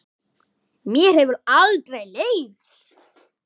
Mér hefur aldrei leiðst.